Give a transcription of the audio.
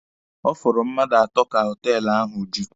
Ọ fọrọ mmadụ atọ ka họtelụ ahụ ju.